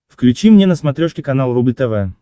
включи мне на смотрешке канал рубль тв